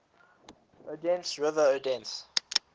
odense river odense